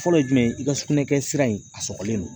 Fɔlɔ ye jumɛn ye i ka sugunɛ kɛ sira in a sɔgɔlen don